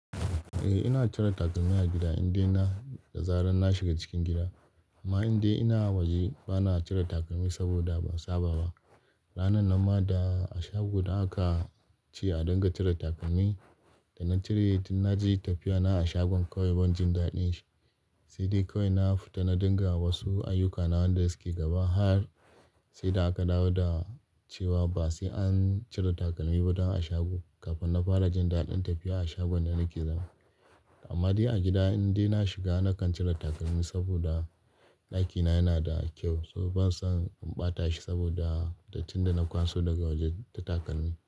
Eh ina cire takalmi a gida in dai na da zaran na shiga cikin gida. Amma in dai ina waje ba na cire takalmi saboda ban saba ba. Ranar nan ma da a shago da aka ce a riƙa cire takalmi, da na cire na ji tafiya na a shagon kawai ban jin daɗin shi. Sai dai kawai na fita na rika wasu ayyukana waɗanda suke gaba har sai da aka dawo da cewa ba sai an cire takalmi ba don a shago kafin na fara jin daɗin tafiya a shagon da nake zama. Amma dai a gida in dai na shiga na kan cire takalmi saboda ɗakina yana da kyau, saboda bana son in ɓata shi saboda dattin da na kwaso daga waje da takalmi.